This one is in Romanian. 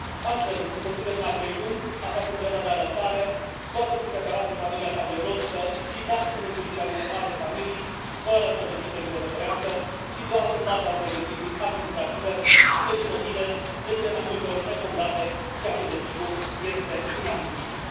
Astfel, un copil de numai trei luni, aflat în perioada de alăptare, poate fi separat de familia sa biologică și dat în îngrijirea unei alte familii fără o decizie judecătorească și doar în baza unei decizii administrative pentru motive, de cele mai multe ori nefondate, ceea ce, desigur, este inadmisibil.